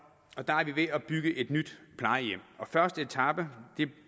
og der er vi ved at bygge et nyt plejehjem første etape